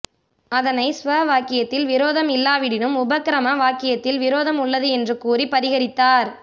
அதனை ஸ்வ வாக்கியத்தில் விரோதம் இல்லாவிடினும் உபக்ரம வாக்கியத்தில் விரோதம் உள்ளது என்று கூறிப் பரிஹரித்தார்